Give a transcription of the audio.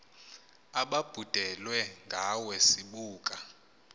ababhudelwe ngawe sibuka